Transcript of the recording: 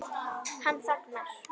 Hann þagnar.